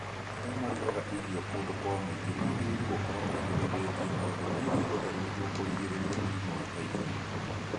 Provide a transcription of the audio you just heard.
Arĩa marugaga irio kũndũ kwa mũingĩ magĩrĩirũo gukorwo mabundithitio maũndũ megiĩ ũtheru nĩguo kũrigĩrĩria mũrimũ wa typhoid.